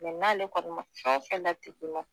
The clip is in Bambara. n'ale kɔni ma fɛn fɛn latig'i ma